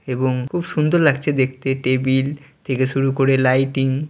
এবং খুব সুন্দর লাগছে দেখতে টেবিল থেকে শুরু করে লাইটিং।